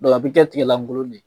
a bi kɛ tigɛlankolon de ye.